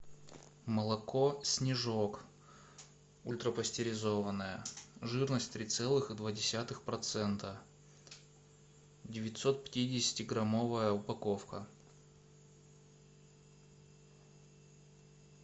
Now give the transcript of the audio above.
молоко снежок ультрапестеризованное жирность три целых и два десятых процента девятьсот пятидесяти граммовая упаковка